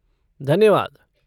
धन्यवाद!